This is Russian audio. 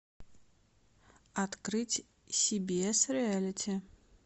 открыть си би эс реалити